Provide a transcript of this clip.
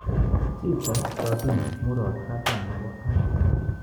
Che tee 70,murot katam nebo Afrika